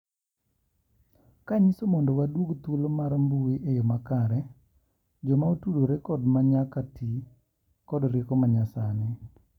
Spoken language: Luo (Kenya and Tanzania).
Kanyiso ,mondo waduog thuolo mar mbui eyo makare, jomaotudore kod ma nyaka ti kod orieko manyasani.